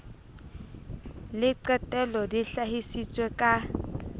le qetelo di hlahisitswe ka